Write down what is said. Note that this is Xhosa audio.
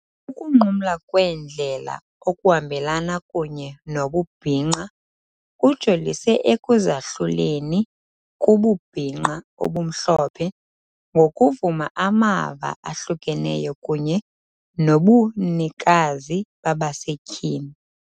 Ukunqumla kweendlela okuhambelana kunye nobubhinqa kujolise ekuzahluleni kububhinqa obumhlophe ngokuvuma amava ahlukeneyo kunye nobunikazi babasetyhini.